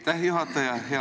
Aitäh, juhataja!